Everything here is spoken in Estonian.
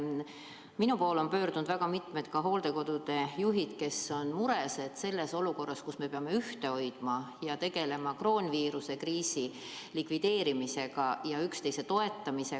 Minu poole on pöördunud mitu hooldekodude juhti, kes on mures, et selles olukorras, kus me peame ühte hoidma ja tegelema kroonviirusest põhjustatud kriisi likvideerimisega ja üksteist toetama, neid süüdistatakse.